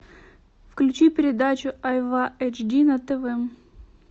включи передачу айва эйч ди на тв